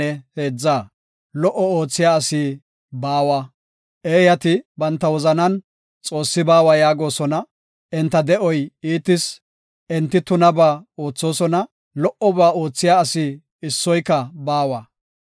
Eeyati banta wozanan, “Xoossi baawa” yaagosona; enta de7oy iitis; enti tunabaa oothosona; lo77oba oothiya asi issoyka baawa.